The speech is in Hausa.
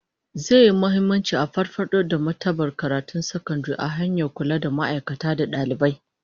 Zai yi muhimmanci a farfado da martabar karatun sakandare ta hanyar kula da ma'aikata da dalibai